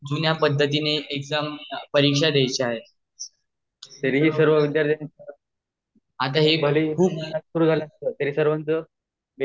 जुन्या पद्धतीने एक्जाम परीक्षा द्याच्या आहेत